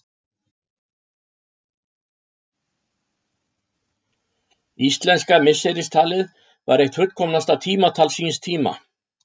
Íslenska misseristalið var eitt fullkomnasta tímatal síns tíma.